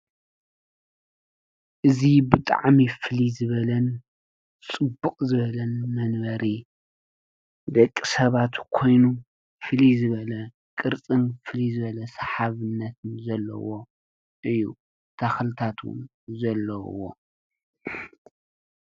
እዚ ብጣዕሚ ፍልይ ዝበለን ፅብቕ ዝበለን መንበሪ ደቂሰባት ኮይኑ ፍልይ ዝበለ ቅርፅን ፍልይ ዝበለ ሰሓብነትን ዘለዎ እዩ። ተኽልታት ውን ዘለዎ።